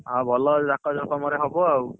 ଆଉ ଭଲ ଜାକଜକମ ରେ ହବ ଆଉ